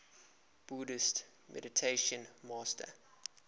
buddhist meditation master